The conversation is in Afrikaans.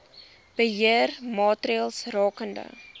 beheer maatreëls rakende